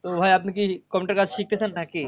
তো ভাইয়া আপনি কি computer কাজ শিখতে চান নাকি?